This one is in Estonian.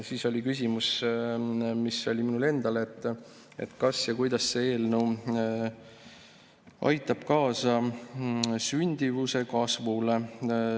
Siis oli küsimus minul endal, kas ja kuidas see eelnõu aitab kaasa sündimuse kasvule.